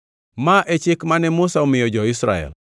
Ma e chik mane Musa omiyo jo-Israel.